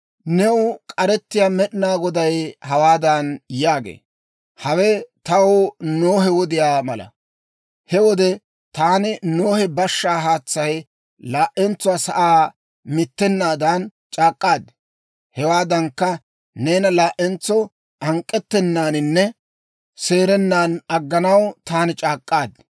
New k'arettiyaa Med'inaa Goday hawaadan yaagee; «Hawe taw Nohe wodiyaa mala. He wode taani Nohe bashshaa haatsay laa"entsuwaa sa'aa mittennaadan c'aak'k'aad; hewaadankka, neena laa'entso hank'k'ettennaaninne seerennan agganaw taani c'aak'k'aad.